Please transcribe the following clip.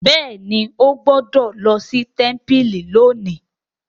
béèni o gbódò ló sí tẹmpili lónì.